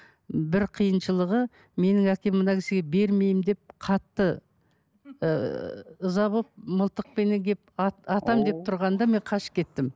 бір қиыншылығы менің әкем мына кісіге бермеймін деп қатты ыыы ыза болып мылтықпенеп келіп атамын деп тұрғанда мен қашып кеттім